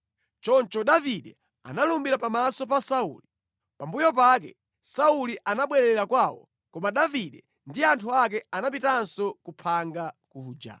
Choncho Davide analumbira pamaso pa Sauli. Pambuyo pake Sauli anabwerera kwawo, koma Davide ndi anthu ake anapitanso ku phanga kuja.